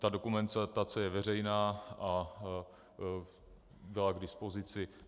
Ta dokumentace je veřejná a byla k dispozici.